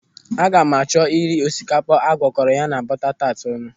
Aga m achọ iri osikapa a gwakọrọ ya na buta taat ọnụ.